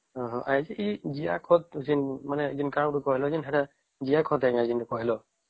ଉମ ହଁ ଯୋଉ ଜିଆ ଖତ ମାନେ କହିଲ ହେରା ଜିଆ ଖତ ଯୋଉ କହିଲ